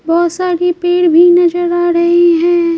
बहुत सारी पेड़ भी नजर आ रहे हैं।